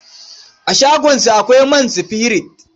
A shagonsa akwai man sifirit.